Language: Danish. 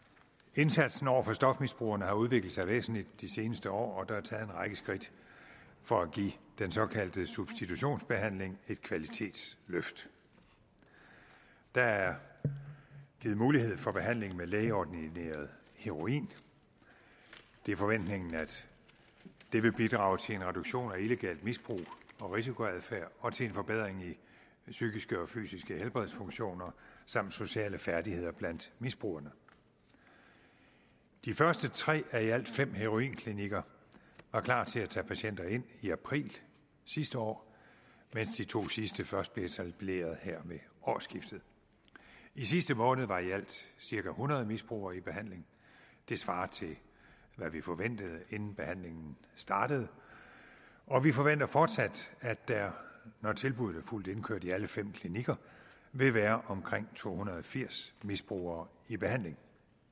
indsatsen over for stofmisbrugerne har udviklet sig væsentligt de seneste år og der er taget en række skridt for at give den såkaldte substitutionsbehandling et kvalitetsløft der er givet mulighed for behandling med lægeordineret heroin det er forventningen at det vil bidrage til en reduktion af illegalt misbrug og risikoadfærd og til en forbedring af psykiske og fysiske helbredsfunktioner samt sociale færdigheder blandt misbrugerne de første tre af i alt fem heroinklinikker var klar til at tage patienter ind i april sidste år mens de to sidste først bliver etableret her ved årsskiftet i sidste måned var i alt cirka hundrede misbrugere i behandling det svarer til hvad vi forventede inden behandlingen startede og vi forventer fortsat at der når tilbuddet er fuldt indkørt i alle fem klinikker vil være omkring to hundrede og firs misbrugere i behandling